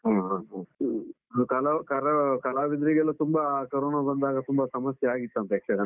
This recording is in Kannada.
ಹ ಹ ಹ್ಮ್. ಹ ಕಲ ಕರ ಕಲಾವಿದರಿಗೆಲ್ಲ ತುಂಬಾ ಕರೋನ ಬಂದಾಗ ತುಂಬ ಸಮಸ್ಯೆ ಆಗಿತ್ತಂತೆ ಯಕ್ಷಗಾನ,